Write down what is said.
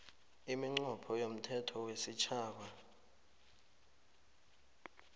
iminqopho yomthetho wesitjhaba